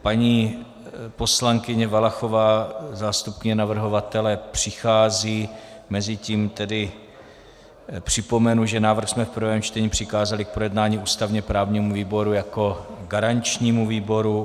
Paní poslankyně Valachová, zástupkyně navrhovatele přichází, mezitím tedy připomenu, že návrh jsme v prvém čtení přikázali k projednání ústavně-právnímu výboru jako garančnímu výboru.